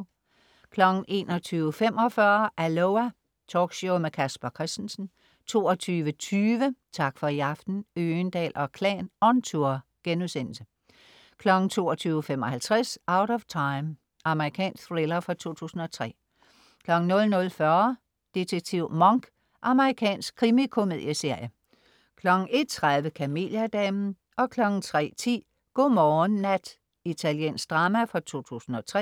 21.45 Aloha! Talkshow med Casper Christensen 22.20 Tak for i aften. Øgendahl & Klan on tour* 22.55 Out of Time. Amerikansk thriller fra 2003 00.40 Detektiv Monk. Amerikansk krimikomedieserie 01.30 Kameliadamen 03.10 God morgen, nat. Italiensk drama fra 2003